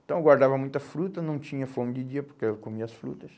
Então eu guardava muita fruta, não tinha fome de dia, porque eu comia as frutas.